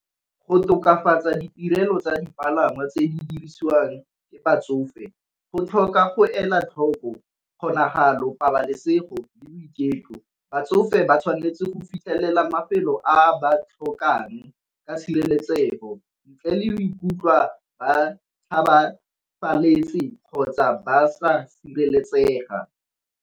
Go tokafatsa ditirelo tsa dipalangwa tse di dirisiwang ke batsofe go tlhoka go ela tlhoko kgonagalo, pabalesego, le boiketlo. Batsofe ba tshwanetse go fitlhelela mafelo a ba tlhokang ka tshireletsego ntle le ikutlwa ba kgotsa ba sa sireletsega.